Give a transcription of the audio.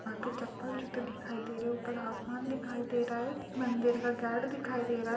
यहाँ पे चप्पल जूते दिखाई दे रहे हैं ऊपर आसमान दिखाई दे रहा है मन्दिर का गेट दिखाई दे रहा है।